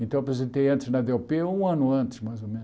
Então eu aposentei antes na dê ó pê, um ano antes, mais ou